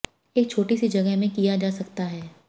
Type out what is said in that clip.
एक छोटी सी जगह में किया जा सकता है